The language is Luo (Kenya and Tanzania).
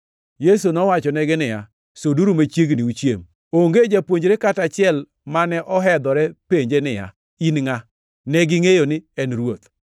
Yesu nowachonegi niya, “Suduru machiegni uchiem.” Onge japuonjre kata achiel mane ohedhore penje niya, “In ngʼa?” Negingʼeyo ni en Ruoth.